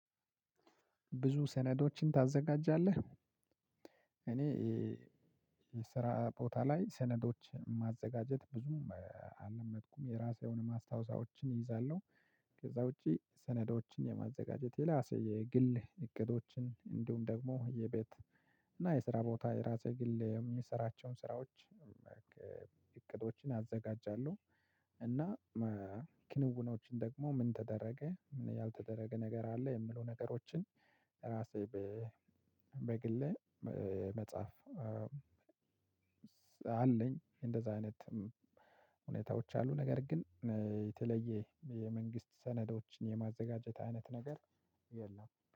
ብዙ ሰነዶችን ታዘጋጃለህ? እኔ የስራ ቦታ ላይ ሰነዶች ማዘጋጀት ብዙም አለመድኩም የራሴየሆነ ማስታወሻዎችን እይዛለሁ። ከዛ ውጪ ሰነዶችን የማዘጋጀት የራሴ የግል እቅዶችን እንዲሁም ደግሞ የቤት እና የስራ ቦታ የራስ የግል የምሰራቸውን ስራዎች እቅዶችን ያዘጋጃለሁ። እና ክንውኖችን ደግሞ ምን ተደረገ ምን ያልተደረገ ነገር አለ የሚሉ ነገሮችን ራሴ በግሌ መጻፍ አለኝ። እንደዛ አይነት ሁኔታዎች አሉ። ነገር ግን የተለየ የመንግስት ሰነዶችን የማዘጋጀት አይነት ነገር የለም